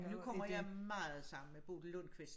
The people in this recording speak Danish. Nu kommer meget sammen med Bodil Lundquist